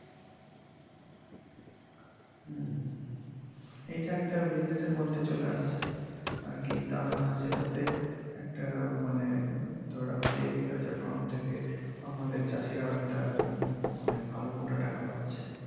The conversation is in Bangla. এটা একটা business র মধ্যে চলে আসছে আরকি তারা সেটাতে একটা মানে ধরা হচ্ছে agriculture fund থেকে আমাদের চাষীরাও একটা উম মানে ভালো মোটা টাকা পাচ্ছে।